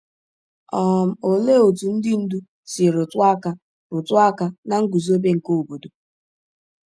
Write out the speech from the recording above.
um Olee otú ndị ndú si rụtụ aka rụtụ aka na nguzobe nke obodo?